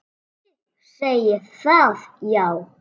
Þið segið það, já.